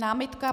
Námitka?